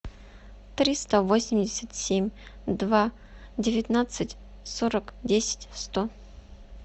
триста восемьдесят семь два девятнадцать сорок десять сто